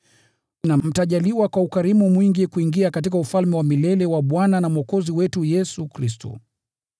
na mtajaliwa kwa ukarimu mwingi kuingia katika ufalme wa milele wa Bwana na Mwokozi wetu Yesu Kristo.